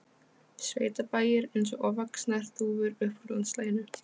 Sveitabæir eins og ofvaxnar þúfur upp úr landslaginu.